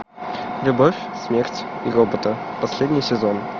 любовь смерть и роботы последний сезон